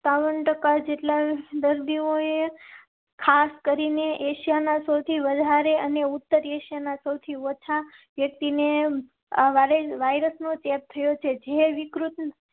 બાવન ટકા જેટલા દર્દીઓએ ખાસ કરી ને એશિયા ના સૌથી વધારે અને ઉત્તર એશિયા ના સૌથી ઓછા વ્યક્તિ ને વાયરસ નો ચેપ થયો છે. જીયો વિકૃત